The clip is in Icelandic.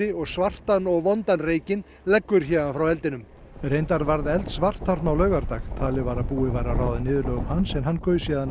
og svartan og vondan reykinn leggur héðan frá eldinum reyndar varð elds vart þarna á laugardag talið var að búið væri að ráða niðurlögum hans en hann gaus síðan